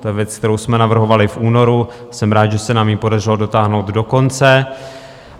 To je věc, kterou jsme navrhovali v únoru, jsem rád, že se nám ji podařilo dotáhnout do konce.